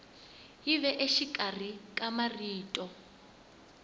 yi ve exikarhi ka marito